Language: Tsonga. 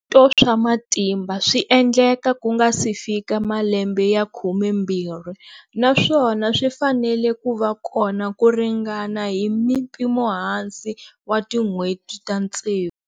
Swikombeto swa matimba swi endleka ku nga si fika malembe ya 12 naswona swi fanele ku va kona ku ringana hi mpimohansi wa tin'hweti ta tsevu.